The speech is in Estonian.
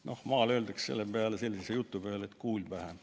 " Noh, maal öeldakse sellise jutu peale, et kuul pähe.